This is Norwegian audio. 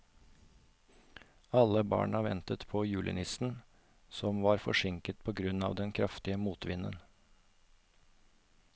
Alle barna ventet på julenissen, som var forsinket på grunn av den kraftige motvinden.